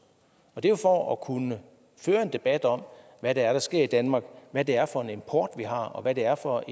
og det er jo for at kunne føre en debat om hvad det er der sker i danmark hvad det er for en import vi har og hvad det er for